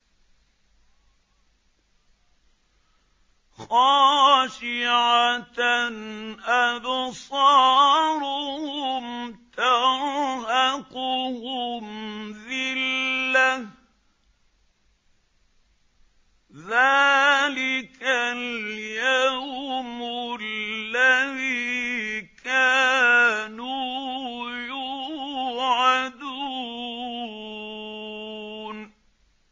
خَاشِعَةً أَبْصَارُهُمْ تَرْهَقُهُمْ ذِلَّةٌ ۚ ذَٰلِكَ الْيَوْمُ الَّذِي كَانُوا يُوعَدُونَ